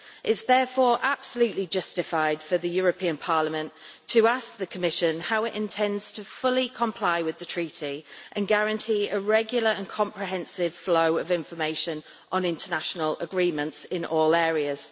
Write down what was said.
It is therefore absolutely justified for Parliament to ask the Commission how it intends to fully comply with the Treaty and guarantee a regular and comprehensive flow of information on international agreements in all areas.